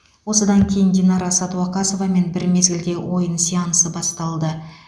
осыдан кейін динара сәдуақасовамен бір мезгілде ойын сеансы басталды